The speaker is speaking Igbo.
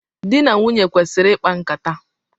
Dị na nwunye kwesịrị ikpa nkata.